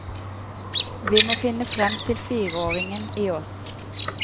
Vi må finne frem til fireåringen i oss.